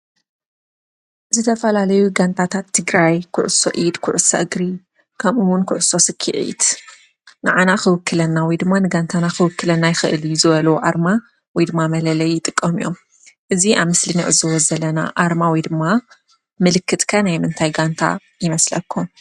ዝተፈላለዩ ጋንታት ትግራይ ኩዕሶ ኢድ፣ ኩዕሶ እግሪ ከምኡ እውን ኩዕሶ ስኪዒት ንዓና ክውክለና ወይ ድማ ንጋንታና ክውክለና ይክእል እዩ ዝበልዎ ኣርማ ወይ ድማ መለለይ ይጥቀሙ እዮም፡፡ እዚ ኣብ ምስሊ እንዕዘቦ ዘለና ኣርማ ወይ ድማ ምልክት ከ ናይ ምንታይ ጋንታ ይመስለኩም፡፡